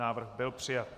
Návrh byl přijat.